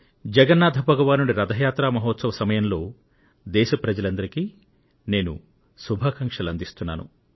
జగన్నాథ భగవానుడి రథ యాత్రా మహోత్సవ సమయంలో దేశ ప్రజలందరికీ నేను శుభాకాంక్షలు అందిస్తున్నాను